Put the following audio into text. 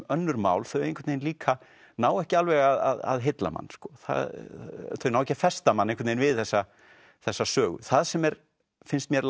önnur mál þau líka ná ekki alveg að heilla mann þau ná ekki að festa mann við þessa þessa sögu það sem er finnst mér